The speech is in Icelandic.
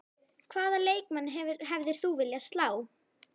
Hvaða leikmann hefðir þú viljað slá?